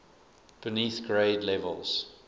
beneath grade levels